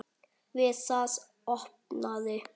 Við það opnaði